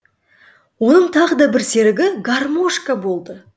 оның тағы да бір серігі гармошка болды